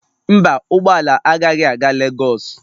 Mba, ụgbọ ala agaghị aga Lagos